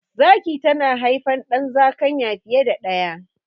Zaki tana haifan ɗan zakanya fiye da daya